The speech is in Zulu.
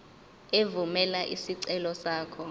evumela isicelo sakho